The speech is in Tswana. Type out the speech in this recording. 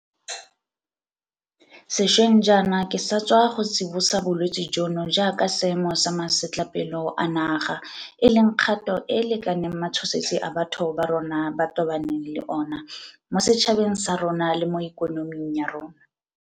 Sešweng jaana ke sa tswa go tsibosa bolwetse jono jaaka seemo sa masetlapelo a naga, e leng kgato e e lekaneng matshosetsi a batho ba rona ba tobaneng le ona, mo setšhabeng sa rona le mo ikonoming ya rona.